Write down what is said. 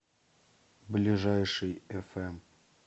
ближайший эфэм